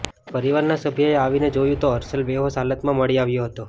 પરિવારના સભ્યએ આવીને જોયું તો હર્ષલ બેહોશ હાલતમાં મળી આવ્યો હતો